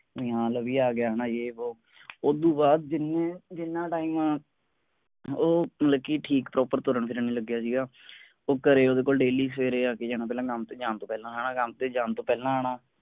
ਨਿਹਾਲ ਵੀ ਆ ਗਿਆ ਹੈਨਾ ਯੇ ਵੋਹ ਓਦੋਂ ਬਾਅਦ ਜਿੰਨੇ ਜਿੰਨਾ time ਉਹ ਲੱਗੀ ਠੀਕ proper ਤੁਰਨ ਫਿਰਨ ਵੀ ਲੱਗਿਆ ਸੀਗਾ। ਉਹ ਘਰੇ ਓਹਦੇ ਕੋਲ daily ਸਵੇਰੇ ਆ ਕੇ ਜਾਣਾ ਪਹਿਲਾਂ ਕੰਮ ਤੋਂ ਜਾਣ ਤੋਂ ਪਹਿਲਾਂ ਹੈਨਾ ਕੰਮ ਤੇ ਜਾਣ ਤੋਂ ਪਹਿਲਾਂ ਆਣਾ।